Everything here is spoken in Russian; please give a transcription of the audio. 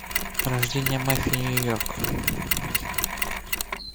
рождение мафии нью йорк